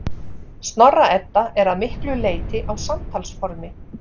Snorra-Edda er að miklu leyti á samtalsformi.